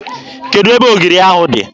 Kedụ ebe ogiri ahụ dị?